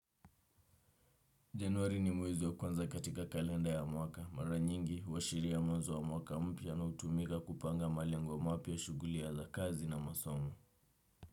Januari ni mwezi wa kwanza katika kalenda ya mwaka. Mara nyingi huashiria mwanzo wa mwaka mpya na hutumika kupanga malengo mapya shughuli ya za kazi na masomo.